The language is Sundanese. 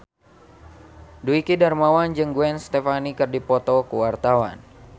Dwiki Darmawan jeung Gwen Stefani keur dipoto ku wartawan